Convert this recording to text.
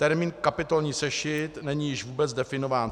Termín kapitolní sešit není již vůbec definován.